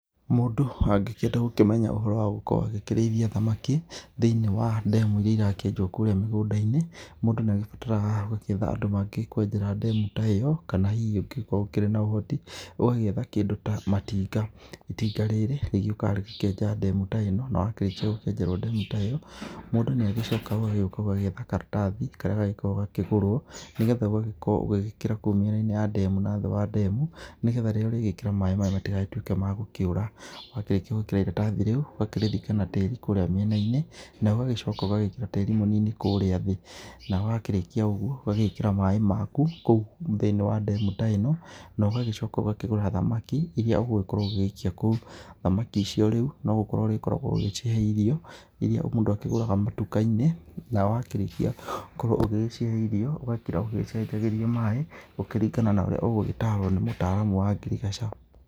Mũndũ angĩkĩenda gũkĩmenya ũhoro wa gũkorwo akĩrĩithia thamaki, thĩ-inĩ wa demu iria irakienjwo kũrĩa mĩgũnda-inĩ, mũndũ nĩagĩbataraga gũkĩetha andũ mangĩgĩkwenjera demu ta ĩyo kana hihi ũngĩgĩkorwo ũkĩrĩ na ũhoti, ũgagĩetha kĩndũ ta matinga, itinga rĩrĩ rĩgĩũkaga rĩgakĩenja demu ta ĩno, nawakĩrĩkia kwenjerwo demu ta ĩno, mũndũ nĩagĩcokaga ũgagĩũka ũgetha karatathi karĩa gakoragwo gakĩgũrwo, nĩgetha ũgagĩkorwo ũgĩgĩkĩra kũu mĩena-inĩ ya demu na thĩ wa demu, nĩgetha ũrĩgĩkĩra maĩ maya matigatuĩke ma gũkĩũra, wakĩrĩkia gwĩkĩra iratathi rĩu ũgakĩrĩthika na tĩri kũrĩa mĩena-inĩ, na ũgagĩcoka ũgagĩkĩra tĩri mũnini kũrĩa thĩ, na wakĩrĩkia ũguo ũgagĩkĩra maĩ maku kũu thĩ-inĩ wa demu ta ĩno, nogagĩcoka ũgagĩkĩra thamaki iria ũgũkorwo ũgĩikia kũu, thamaki icio rĩu nogũkoro ũrĩkoragwo ũgĩciĩhe irio iria mũndũ akĩgũraga matuka-inĩ, na wakĩrĩkia gũkorwo ũgĩgĩciĩhe irio, ũgakĩra ũgĩgĩcenjagĩria maĩ gũkĩringana na ũrĩa ũgũgĩtarwo nĩ mũtaaramu wa ngirigaca.